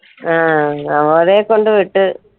അഹ് നവോദയയിൽ കൊണ്ട് വിട്ട്